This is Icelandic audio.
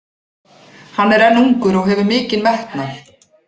Hann er enn ungur og hefur mikinn metnað.